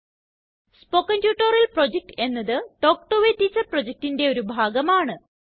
spoken tutorial project എന്നത് talk to a teacher projectന്റെ ഒരു ഭാഗമാണ്